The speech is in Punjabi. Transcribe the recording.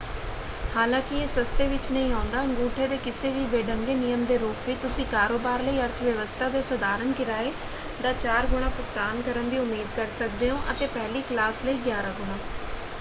ਹਾਲਾਂਕਿ ਇਹ ਸਸਤੇ ਵਿੱਚ ਨਹੀਂ ਆਉਂਦਾ: ਅਗੂੰਠੇ ਦੇ ਕਿਸੇ ਵੀ ਬੇਢੰਗੇ ਨਿਯਮ ਦੇ ਰੂਪ ਵਿੱਚ ਤੁਸੀਂ ਕਾਰੋਬਾਰ ਲਈ ਅਰਥਵਿਵਸਥਾ ਦੇ ਸਾਧਾਰਨ ਕਿਰਾਏ ਦਾ ਚਾਰ ਗੁਣਾ ਭੁਗਤਾਨ ਕਰਨ ਦੀ ਉਮੀਦ ਕਰ ਸਕਦੇ ਹੋ ਅਤੇ ਪਹਿਲੀ ਕਲਾਸ ਲਈ ਗਿਆਰਾਂ ਗੁਣਾ!